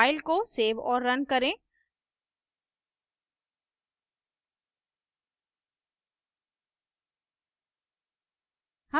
file को save और run करें